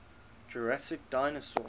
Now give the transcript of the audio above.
jurassic dinosaurs